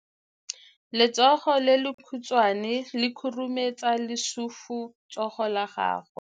Letsogo le lekhutshwane le khurumetsa lesufutsogo la gago.